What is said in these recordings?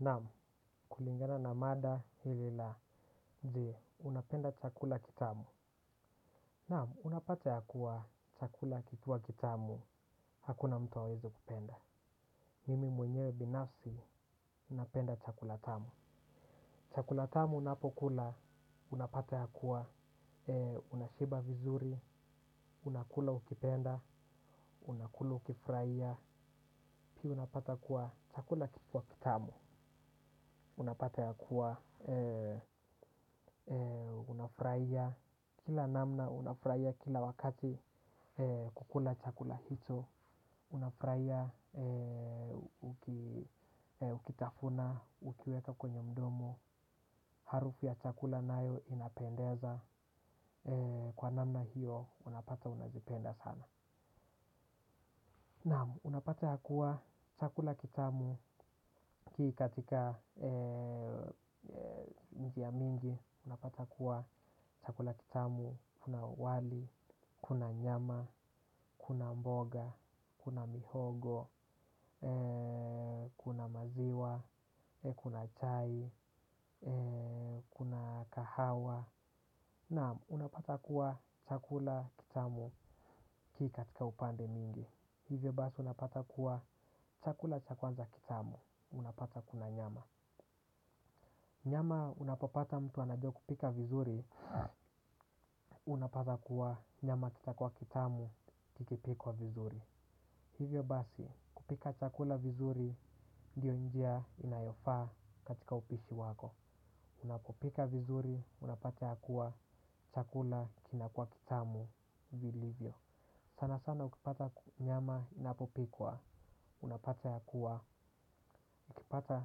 Naamu, kulingana na mada hili la je, unapenda chakula kitamu. Naamu, unapata yakuwa chakula kikiwa kitamu, hakuna mtu hawezi kupenda. Mimi mwenyewe binafsi, napenda chakula tamu. Chakula tamu unapokula, unapata ya kuwa, unashiba vizuri, unakula ukipenda, unakula ukifuraia, pia unapata kuwa chakula kikuwa kitamu. Unapata ya kuwa unafuraia. Kila namna unafuraia kila wakati. Kukula chakula hicho. Unafuraia. Ukitafuna ukiweka kwenye mdomo. Harufu ya chakula nayo inapendeza. Kwa namna hiyo unapata unazipenda sana. Naamu unapata ya kuwa chakula kitamu hii katika njia mingi, unapata kuwa chakula kitamu, kuna wali, kuna nyama, kuna mboga, kuna mihogo, kuna maziwa, kuna chai, kuna kahawa. Na, unapata kuwa chakula kitamu kii katika upande mingi. Hivyo basi unapata kuwa chakula cha kwanza kitamu, unapata kuna nyama. Nyama unapopata mtu anajua kupika vizuri, unapata kuwa nyama kitakua kitamu, kikipikwa vizuri. Hivyo basi, kupika chakula vizuri, ndio njia inayofaa katika upishi wako. Unapopika vizuri, unapata ya kuwa chakula kinakua kitamu, vilivyo. Sana sana ukipata nyama inapopikwa, unapata yakuwa. Kipata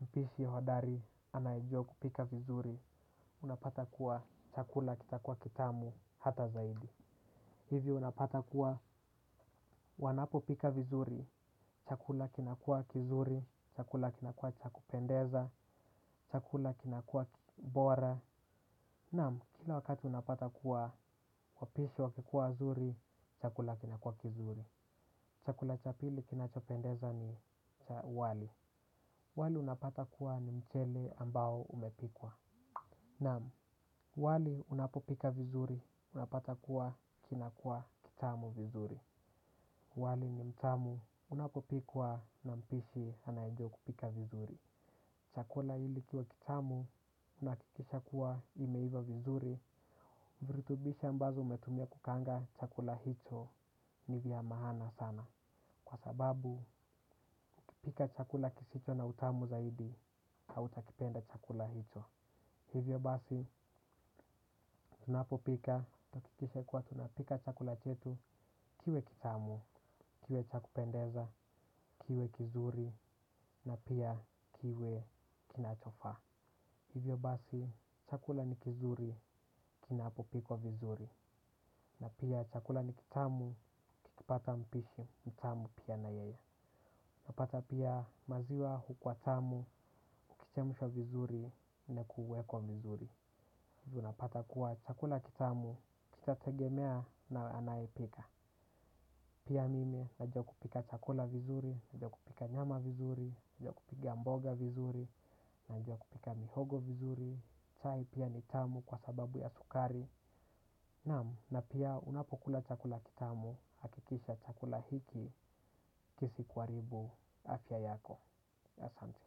mpishi hodari anayejua kupika vizuri, unapata kuwa chakula kitakua kitamu hata zaidi. Hivyo unapata kuwa wanapo pika vizuri, chakula kinakua kizuri, chakula kinakua cha kupendeza, chakula kinakua bora. Naam, kila wakati unapata kuwa wapishi wakikuwa wazuri, chakula kinakua kizuri. Chakula cha pili kinachopendeza ni wali. Wali unapata kuwa ni mchele ambao umepikwa. Naam, wali unapopika vizuri, unapata kuwa kinakua kitamu vizuri. Wali ni mtamu, unapopikwa na mpishi anaejua kupika vizuri. Chakula ili kiwe kitamu, unaakikisha kuwa imeiva vizuri. Viritubishi ambazo umetumia kukaanga chakula hicho, ni vya mahana sana. Kwa sababu, kupika chakula kisicho na utamu zaidi, hauta kipenda chakula hicho. Hivyo basi, tunapo pika, hakikisha kuwa tunapika chakula chetu, kiwe kitamu, kiwe cha kupendeza, kiwe kizuri, na pia kiwe kinachofaa. Hivyo basi, chakula ni kizuri, kinapo pikwa vizuri, na pia chakula ni kitamu, kikipata mpishi, mtamu pia na yeye. Napata pia maziwa hukuwa tamu, kichemushwa vizuri, nekuwekwa vizuri tunapata kuwa chakula kitamu, kitategemea na anayepika. Pia mimei, najua kupika chakula vizuri, najua kupika nyama vizuri, najua kupika mboga vizuri, najua kupika mihogo vizuri chai pia ni tamu kwa sababu ya sukari. Na pia unapokula chakula kitamu, hakikisha chakula hiki, kisikuaribu, afya yako. Asante.